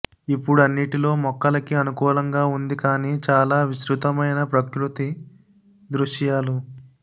ఇప్పుడు అన్నిటిలో మొక్కలకి అనుకూలంగా ఉంది కానీ చాలా విస్తృతమైన ప్రకృతి దృశ్యాలు